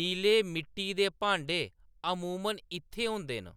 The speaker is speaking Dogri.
नीले मिट्टी दे भांडे अमूमन इत्थें होंदे न।